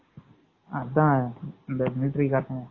அதான் மிலிட்டரிகாரென்